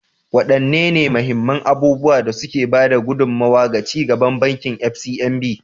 Wadanne mahimman abubuwan da suka ba da gudummawa ga ci gaban Bankin FCMB?